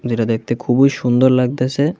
যেটা দেখতে খুবই সুন্দর লাগতেছে।